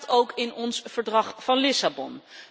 Dat staat ook in ons Verdrag van Lissabon.